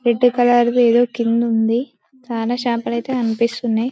Red colour ది ఏదో కింద ఉంది. చానా షాంపూలు అయితే కనిపిస్తున్నాయి.